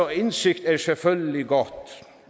og indsigt er selvfølgelig godt